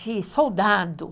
De soldado.